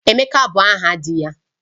Emeka bụ aha dị ya